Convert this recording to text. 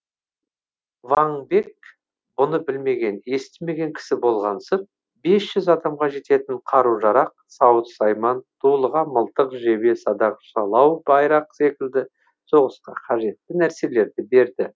ваң бек бұны білмеген естімеген кісі болғансып бес жүз адамға жететін қару жарақ сауыт сайман дулыға мылтық жебе садақ жалау байрақ секілді соғысқа қажетті нәрселер берді